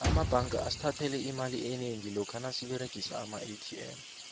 amabanga asithathele imali enengi lokha nasiberegisa amaatm